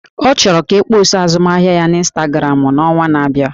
Ọ chọrọ ka akpọsa azụmahịa ya na ịnstagramụ n'ọnwa na-abịa